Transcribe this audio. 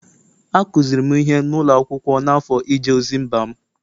Akụziri m ihe n’ụlọ akwụkwọ n’afọ ije ozi mba m